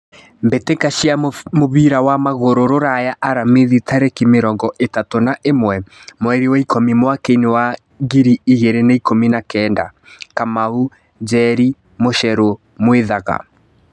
Mbĩtĩka cia mũbira wa magũrũ Ruraya Aramithi tarĩki mĩrongo ĩtatũ na ĩmwe mweri wa ikũmi mwakainĩ wa ngiri igĩrĩ na ikũmi na kenda: Kamau, Njeri, Mucheru, Mwithaga.